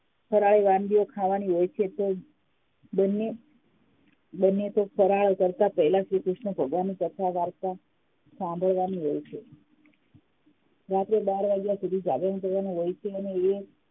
ફરાળી વાનગીઓ ખાવાની હોય છે તો બંને બંને ફરાર કરતાં પહેલાં શ્રીકૃષ્ણની ભગવાનની કથા વાર્તા સાંભળવાની હોય છે રાત્રે બાર વાગ્યા સુધી જાગરણ કરવાનું હોય છે અને એ